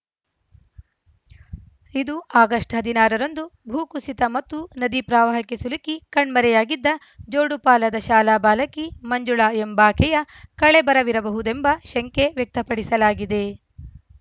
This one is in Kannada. ಇದು ಆಗಸ್ಟ್ ಹದಿನಾರ ರಂದು ಭೂಕುಸಿತ ಮತ್ತು ನದಿ ಪ್ರವಾಹಕ್ಕೆ ಸಿಲುಕಿ ಕಣ್ಮರೆಯಾಗಿದ್ದ ಜೋಡುಪಾಲದ ಶಾಲಾ ಬಾಲಕಿ ಮಂಜುಳಾ ಎಂಬಾಕೆಯ ಕಳೇಬರವಿರಬಹುದೆಂಬ ಶಂಕೆ ವ್ಯಕ್ತಪಡಿಸಲಾಗಿದೆ